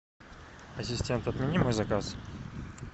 ассистент отмени мой заказ